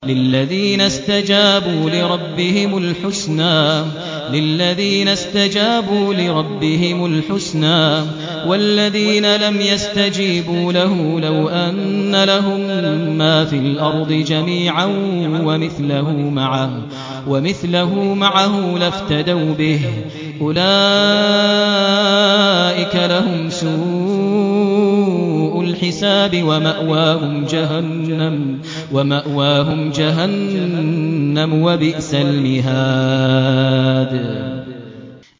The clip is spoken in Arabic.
لِلَّذِينَ اسْتَجَابُوا لِرَبِّهِمُ الْحُسْنَىٰ ۚ وَالَّذِينَ لَمْ يَسْتَجِيبُوا لَهُ لَوْ أَنَّ لَهُم مَّا فِي الْأَرْضِ جَمِيعًا وَمِثْلَهُ مَعَهُ لَافْتَدَوْا بِهِ ۚ أُولَٰئِكَ لَهُمْ سُوءُ الْحِسَابِ وَمَأْوَاهُمْ جَهَنَّمُ ۖ وَبِئْسَ الْمِهَادُ